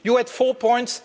You had four points.